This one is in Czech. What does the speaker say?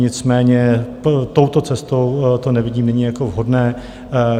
Nicméně touto cestou to nevidím nyní jako vhodné.